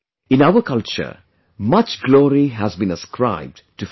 In our culture much glory has been ascribed to food